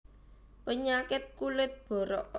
Penyakit kulit borok